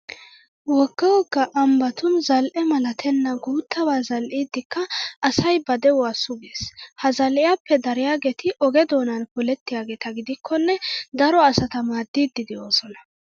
Wogga wogga ambbatun zal"e malatenna guuttabaa zal'idikka asay ba de'uwa sugees. Ha zal'iyappe dariyageeti oge doonan polettiygeeta gidikkonne daro asata maaddiiddi de'oosona.